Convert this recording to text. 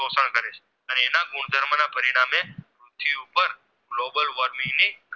Global worming ની